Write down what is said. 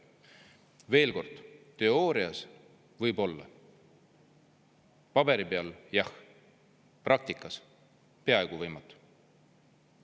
Veel kord: teoorias, võib-olla paberi peal jah, aga praktikas peaaegu võimatu.